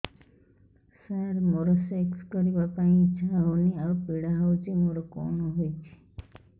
ସାର ମୋର ସେକ୍ସ କରିବା ପାଇଁ ଇଚ୍ଛା ହଉନି ଆଉ ପୀଡା ହଉଚି ମୋର କଣ ହେଇଛି